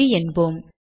சரி என்போம்